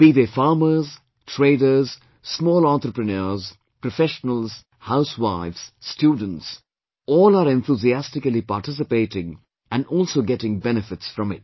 Be they farmers, traders, small entrepreneurs, professionals, housewives, students all are enthusiastically participating and also getting benefits from it